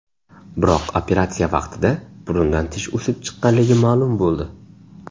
Biroq operatsiya vaqtida burundan tish o‘sib chiqqanligi ma’lum bo‘ldi.